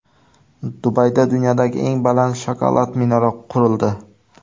Dubayda dunyodagi eng baland shokolad minora qurildi.